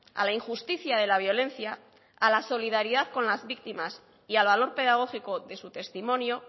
a la injusticia de la violencia a la solidaridad con las víctimas y al valor pedagógico de su testimonio